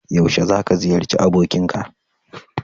Yaushe za ka ziyarci abokinka?